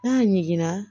N'a ɲiginna